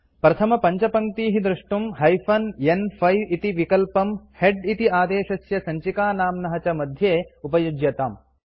प्रथमपञ्चपङ्क्तीः द्रष्टुं हाइफेन न्5 इति विकल्पम् हेड इति आदेशस्य सञ्चिकानाम्नः च मध्ये उपयुज्यताम्